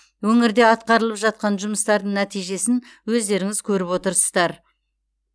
өңірде атқарылып жатқан жұмыстардың нәтижесін өздеріңіз көріп отырсыздар